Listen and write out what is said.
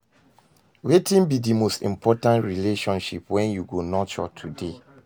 Wetin be di most important relationship wey you go nurture today?